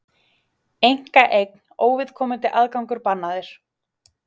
Einkaeign, óviðkomandi aðgangur bannaður